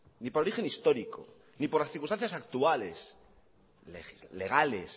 ni por origen histórico ni por las circunstancias actuales legales